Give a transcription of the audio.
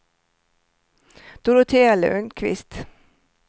Dorotea Lundkvist